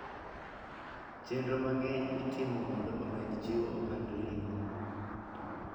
Chenro mang'eny itimo mondo omed jiwo ohand ring'o.